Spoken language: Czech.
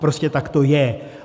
Prostě tak to je.